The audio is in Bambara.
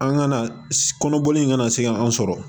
An kana kɔnɔbɔli in kana se ka an sɔrɔ